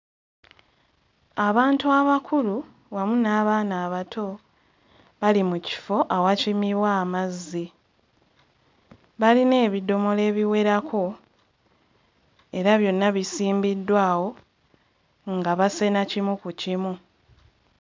Abantu abakulu wamu n'abaana abato bali mu kifo awakimirwa amazzi, balina ebidomola ebiwerako era byonna bisimbiddwa awo nga basena kimu ku kimu.